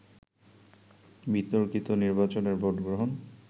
বিতর্কিত নির্বাচনের ভোটগ্রহণ